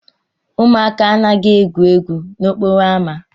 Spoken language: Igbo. Ụmụaka anaghị egwu egwu n'okporo ámá.